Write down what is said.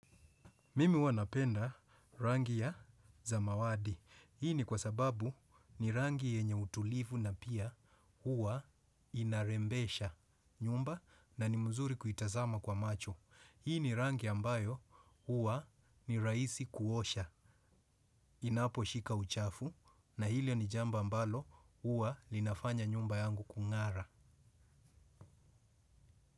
Mimi huwa napenda rangi ya samawati. Hii ni kwa sababu ni rangi yenye utulivu na pia huwa inarembesha nyumba na ni mzuri kuitazama kwa macho. Hii ni rangi ambayo huwa ni raisi kuosha. Inaposhika uchafu na ile ni jambo ambalo huwa linafanya nyumba yangu kungara.